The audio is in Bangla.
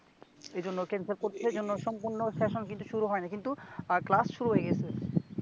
এজন্য cancel করতেছে এজন্য সম্পূর্ণ সেশন কিন্তু শুরু হয় নাই কিন্তু ক্লাস শুরু হয়ে গেছে